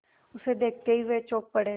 उसे देखते ही वे चौंक पड़े